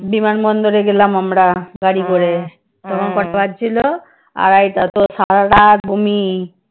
বিমান বন্দরে গেলাম আমরা গাড়ী করে। তখন কটা বাজছিল? আড়াইটা। তো সারা রাত বমি।